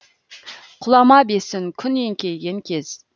құлама бесін күн еңкейген кез